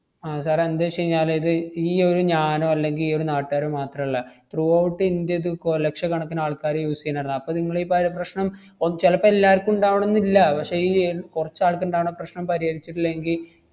ആഹ് sir ഏ എന്തുവെച്ചെഞ്ഞാല് ഇത് ഈയൊരു ഞാനോ അല്ലെങ്കി ഈയൊരു നാട്ടാരോ മാത്രല്ല, throughout ഇന്ത്യ ഇത് കൊ~ ലക്ഷക്കണക്കിന് ആൾക്കാര് use ചെയ്യണതാ. അപ്പ നിങ്ങള് ഈ പ~ പ്രശ്‌നം ഓ~ ചെലപ്പം എല്ലാർക്കും ഉണ്ടാവണന്നില്ല. പക്ഷെ ഈ ഏർ കൊറച്ച് ആൾക്കിണ്ടാവണ പ്രശ്‌നം പരിഹരിച്ചിട്ടില്ലെങ്കി,